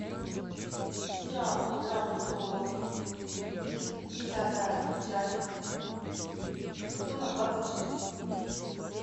сериал игра престолов десятая часть сезона двадцать шесть